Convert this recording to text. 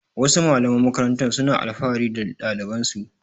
Wasu malaman makarantar suna alfahari da ɗalibansu.